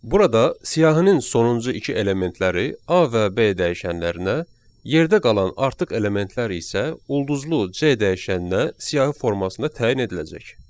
Burada siyahının sonuncu iki elementləri A və B dəyişənlərinə, yerdə qalan artıq elementlər isə ulduzlu C dəyişəninə siyahı formasında təyin ediləcək.